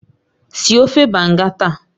Sie ofe Banga taa!